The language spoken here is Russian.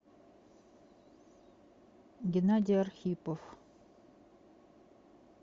геннадий архипов